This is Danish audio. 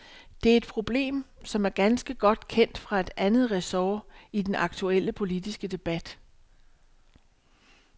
Det er et problem, som er ganske godt kendt fra et andet resort i den aktuelle politiske debat.